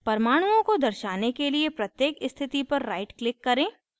परमाणुओं को दर्शाने के लिए प्रत्येक स्थिति पर right click करें